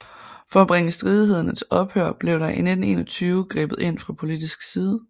For at bringe stridighederne til ophør blev der i 1921 grebet ind fra politisk side